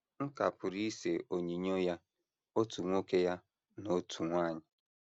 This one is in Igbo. M ka pụrụ ise onyinyo ya otu nwoke ya na otu nwanyị.